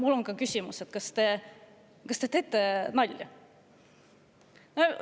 Mul on küsimus: kas te teete nalja?